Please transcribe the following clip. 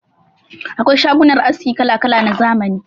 Akwai shagunan aski kala-kala na zamani.